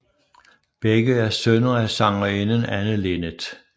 Begge er sønner af sangerinden Anne Linnet